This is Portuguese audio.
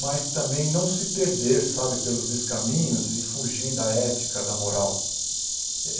Mas também não se perder, sabe, pelos descaminhos e fugir da ética, da moral.